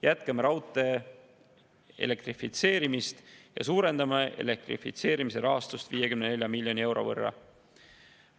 Jätkame raudtee elektrifitseerimist ja suurendame elektrifitseerimise rahastust 54 miljoni euro võrra.